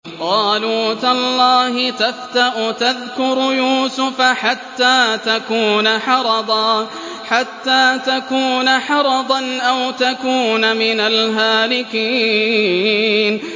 قَالُوا تَاللَّهِ تَفْتَأُ تَذْكُرُ يُوسُفَ حَتَّىٰ تَكُونَ حَرَضًا أَوْ تَكُونَ مِنَ الْهَالِكِينَ